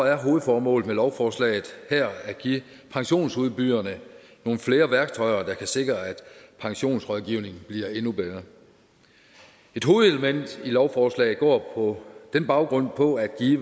er hovedformålet med lovforslaget her at give pensionsudbyderne nogle flere værktøjer der kan sikre at pensionsrådgivningen bliver endnu bedre et hovedelement i lovforslaget går på den baggrund ud på at give